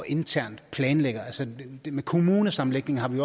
internt og planlægge det med kommunesammenlægningen har vi